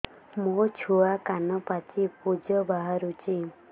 ମୋ ଛୁଆ କାନ ପାଚି ପୂଜ ବାହାରୁଚି